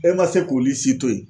E man se k'olu si to ye.